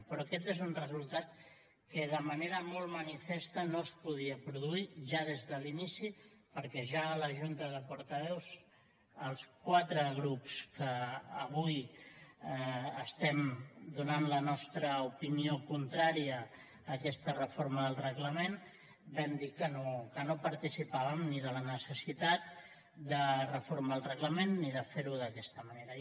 però aquest és un resultat que de manera molt manifesta no es podia produir ja des de l’inici perquè ja a la junta de portaveus els quatre grups que avui estem donant la nostra opinió contrària a aquesta reforma del reglament vam dir que no participàvem ni de la necessitat de reformar el reglament ni de fer ho d’aquesta manera